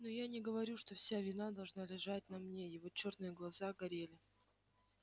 но я не говорю что вся вина должна лежать на мне его чёрные глаза горели